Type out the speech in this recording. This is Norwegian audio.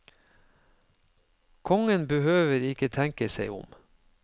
Kongen behøver ikke tenke seg om.